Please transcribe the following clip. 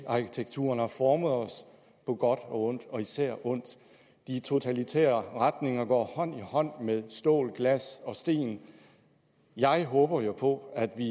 arkitekturen har formet os på godt og ondt og især ondt de totalitære retninger går hånd i hånd med stål glas og sten jeg håber jo på at vi